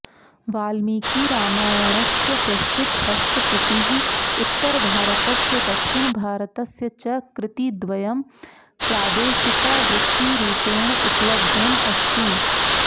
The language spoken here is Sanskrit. वाल्मीकिरामायणस्य प्रस्तुतहस्तप्रतिः उत्तरभारतस्य दक्षिणभारतस्य च कृतिद्वयं प्रादेशिकावृत्तिरुपेण उपलब्धमस्ति